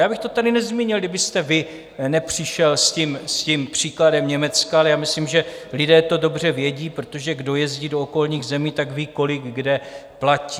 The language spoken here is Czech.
Já bych to tady nezmínil, kdybyste vy nepřišel s tím příkladem Německa, ale já myslím, že lidé to dobře vědí, protože kdo jezdí do okolních zemí, tak ví, kolik kde platí.